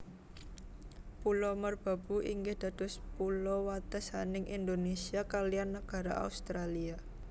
Pulo Merbau inggih dados pulo watesaning Indonésia kaliyan nagara Australia